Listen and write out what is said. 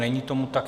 Není tomu tak.